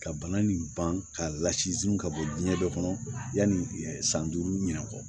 Ka bana nin ban k'a lasun ka bɔ diɲɛ dɔ kɔnɔ yanni san duuru ɲinɔ